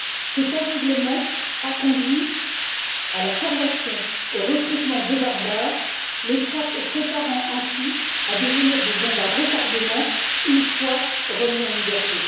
Cet aveuglement a conduit à la formation, au recrutement de barbares, les préparant ainsi à devenir des bombes à retardement, une fois remis en liberté.